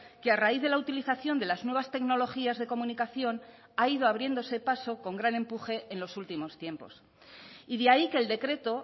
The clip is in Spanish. que a raíz de la utilización de las nuevas tecnologías de comunicación ha ido abriéndose paso con gran empuje en los últimos tiempos y de ahí que el decreto